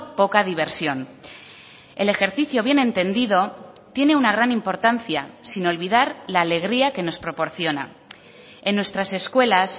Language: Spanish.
poca diversión el ejercicio bien entendido tiene una gran importancia sin olvidar la alegría que nos proporciona en nuestras escuelas